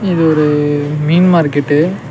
இது ஒரு மீன் மார்க்கெட்டு .